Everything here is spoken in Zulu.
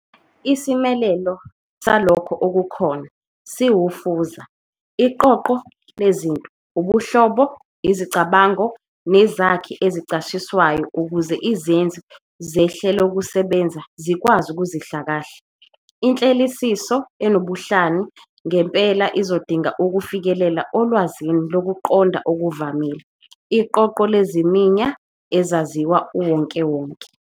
Isimelelo "salokho okukhona" siwufuza - iqoqo lezinto, ubuhlobo, izicabango, nezakhi ezichaziswayo ukuze izenzi zehlelokusebenza zikwazi ukuzihlakahla. Inhleleliso enobuhlani ngempela izodinga ukufikelela olwazini lokuqonda okuvamile, iqoqo leziminya ezaziwa uwonkewonke.